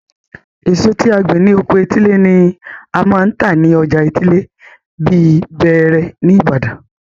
Èso tí a gbìn ní oko etílé ni a máa ń tà ni ọjà etílé bíi bẹẹrẹ ní ìbàdàn.